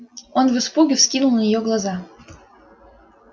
он в испуге вскинул на неё глаза